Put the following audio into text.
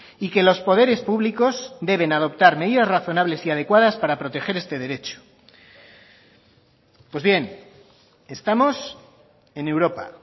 y que los poderes públicos deben adoptar medidas razonables y adecuadas para proteger este derecho pues bien estamos en europa